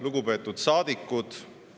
Lugupeetud saadikud!